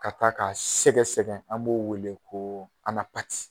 Ka t'a ka sɛgɛsɛgɛ an b'o wele ko alapati.